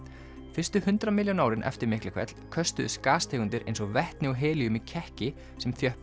fyrstu hundrað milljón árin eftir Miklahvell köstuðust gastegundir eins og vetni og helíum í kekki sem